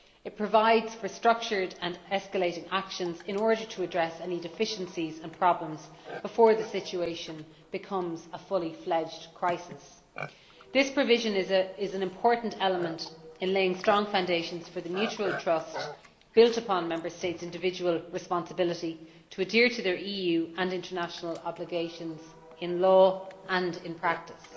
It provides for structured and escalating actions in order to address any deficiencies and problems before the situation becomes a fully fledged crisis. This provision is an important element in laying strong foundations for the mutual trust built upon Member States' individual responsibility for adhering to their EU and international obligations in law and in practice.